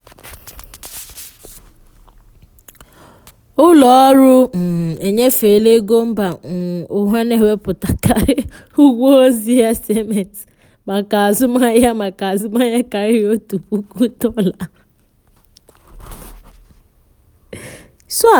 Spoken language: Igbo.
ụlọ ọrụ um nyefe ego mba um ụwa na-ewepụkarị ụgwọ ozi sms maka azụmahịa maka azụmahịa karịrị otu puku dolla